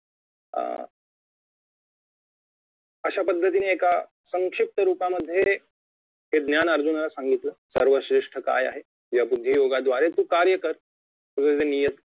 अं अशा पद्धतीने एका संक्षिप्त रुपामध्ये हे ज्ञान अर्जुनाला सांगितलं सर्वश्रेष्ठ काय आहे या बुद्धियोगा द्वारे तू तुझे कार्य कर तुझे जे नियत